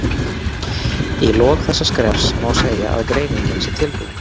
Í lok þessa skrefs má segja að greiningin sé tilbúin.